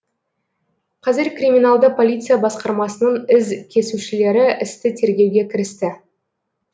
қазір криминалды полиция басқармасының із кесушілері істі тергеуге кірісті